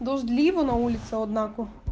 дождливо на улице однако